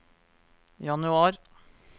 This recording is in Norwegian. januar